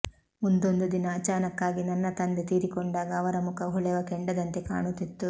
ಮುಂದೊಂದು ದಿನ ಅಚಾನಕ್ಕಾಗಿ ನನ್ನ ತಂದೆ ತೀರಿಕೊಂಡಾಗ ಅವರ ಮುಖ ಹೊಳೆವ ಕೆಂಡದಂತೆ ಕಾಣುತ್ತಿತ್ತು